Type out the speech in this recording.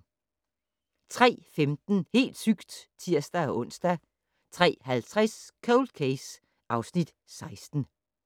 03:15: Helt sygt! (tir-ons) 03:50: Cold Case (Afs. 16)